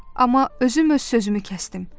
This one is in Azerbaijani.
Amma özüm öz sözümü kəsdim.